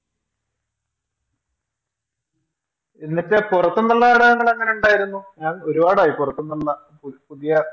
എന്നിട്ട് പുറത്തുന്നുള്ള നാടകങ്ങളെങ്ങനെ ഉണ്ടായിരുന്നു ഞാൻ ഒരുപാടായി പുറത്തുന്നുള്ള പുതിയ